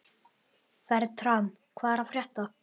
Fertram, hvað er að frétta?